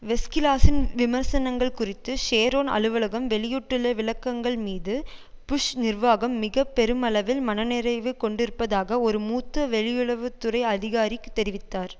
வெஸ்கிளாஸின் விமர்சனங்கள் குறித்து ஷேரோன் அலுவலகம் வெளியிட்டுள்ள விளக்கங்கள் மீது புஷ் நிர்வாகம் மிக பெருமளவில் மனநிறைவு கொண்டிருப்பதாக ஒரு மூத்த வெளியுறவு துறை அதிகாரி தெரிவித்தார்